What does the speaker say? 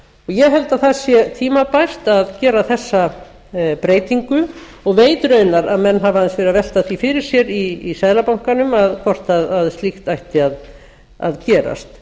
ég held að það sé tímabært á gera þessa breytingu og veit raunar að menn hafa aðeins verið að velta því fyrir sér í seðlabankanum hvort slíkt ætti að gerast